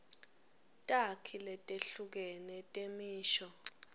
takhi letehlukene temisho